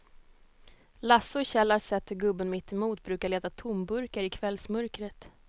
Lasse och Kjell har sett hur gubben mittemot brukar leta tomburkar i kvällsmörkret.